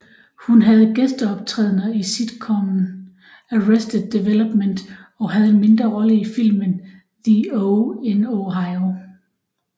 Hun havde gæsteoptrædener i sitcomet Arrested Development og havde en mindre rolle i filmen The Oh in Ohio